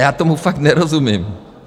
Já tomu fakt nerozumím.